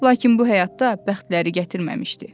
Lakin bu həyatda bəxtləri gətirməmişdi.